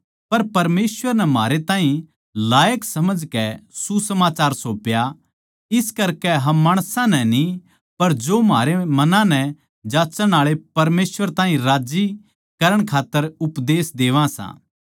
पर परमेसवर नै म्हारै ताहीं लायक समझकै सुसमाचार सौंप्या इस करकै हम माणसां नै न्ही पर जो म्हारै मनां नै जांच्चण आळे परमेसवर ताहीं राज्जी करण खात्तर उपदेश देवा सां